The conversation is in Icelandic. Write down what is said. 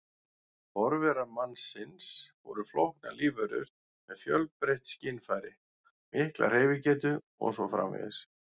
Forverar mannsins voru flóknar lífverur með fjölbreytt skynfæri, mikla hreyfigetu og svo framvegis.